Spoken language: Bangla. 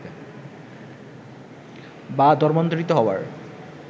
বা ধর্মান্তরিত হবার